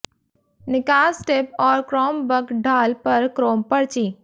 निकास टिप और chrome bug ढाल पर क्रोम पर्ची